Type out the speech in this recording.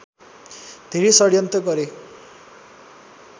धेरै षड्यन्त्र गरे